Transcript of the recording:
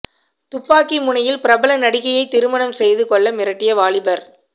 துப்பாக்கி முனையில் பிரபல நடிகையை திருமணம் செய்து கொள்ள மிரட்டிய வாலிபர்